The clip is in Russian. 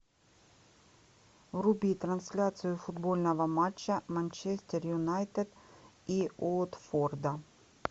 вруби трансляцию футбольного матча манчестер юнайтед и уотфорда